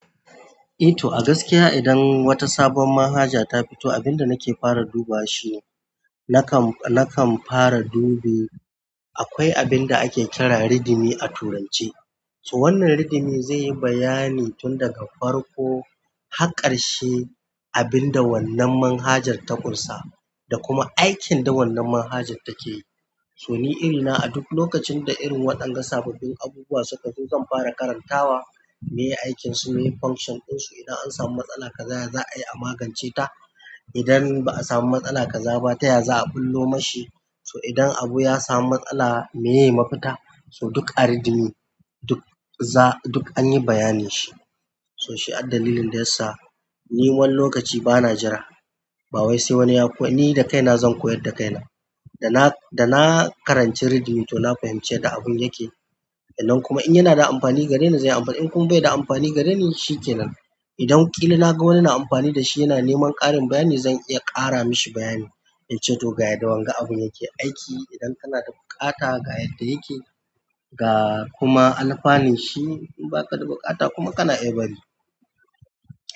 Eh to a gaskiya idan wata sabuwar manhaja ta fito abinda nake fara dubawa shine, na kan fara dube, akwai abinda ake kira read-me a turance to wannan read-me zai yi bayani tun daga farko har ƙarshe abinda wannan manhajar ta ƙunsa da kuma aikin da wannan manhajar take yi. To ni irina a duk lokacin da irin waɗannan sababbin abubuwa suka zo zan fara karantawa me aikin su ne, function ɗinsu, idan an samu matsala kaza ya za a yi a magance ta. Idan ba a samu matsala kaza ba, ta yaya za a ɓullo ma shi. So idan abu ya samu matsala me ye mafita. So duk a read-me duk an yi bayanin shi. To shi addalilin da yasa ni wani lokaci bana jira, bawai sai wani ya koyar, ni da kaina zan koyar da kaina. Da na karanci read-me to na fahimci yanda abin yake. Nan kuma in yana da amfani gareni zai yi amfani, in kuma bai da amfani gareni shi kenan. Idan ƙila na ga wani yana amfani da shi yana neman ƙarin bayani zan iya ƙara mashi bayani. Yace to ga yadda wanga abin yake aiki. Idan kana da buƙata ga yadda yake, ga kuma alfanin shi. In ba ka da buƙata kuma kana iya bari.